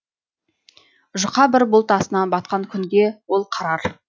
жұқа бір бұлт астынан батқан күнге ол қарар